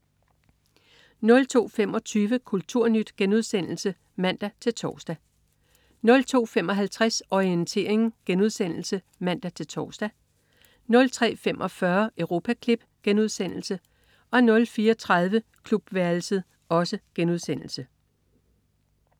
02.25 Kulturnyt* (man-tors) 02.55 Orientering* (man-tors) 03.45 Europaklip* 04.30 Klubværelset*